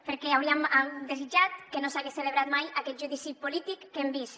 perquè hauríem desitjat que no s’hagués celebrat mai aquest judici polític que hem vist